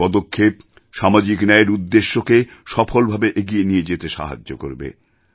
এই পদক্ষেপ সামাজিক ন্যায়ের উদ্দেশ্যকে সফলভাবে এগিয়ে নিয়ে যেতে সাহায্য করবে